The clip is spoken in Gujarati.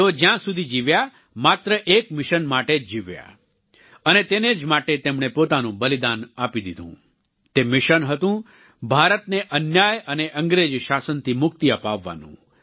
તેઓ જ્યાં સુધી જીવ્યા માત્ર એક મિશન માટે જ જીવ્યા અને તેને જ માટે તેમણે પોતાનું બલિદાન આપી દીધું તે મિશન હતું ભારતને અન્યાય અને અંગ્રેજી શાસનથી મુક્તિ અપાવવાનું